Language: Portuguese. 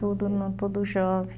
Tudo tudo jovem.